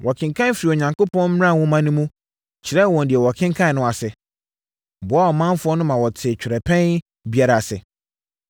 Wɔkenkan firii Onyankopɔn mmara nwoma no mu kyerɛɛ wɔn deɛ wɔkenkan no ase, boaa ɔmanfoɔ no ma wɔtee twerɛpɛn biara ase.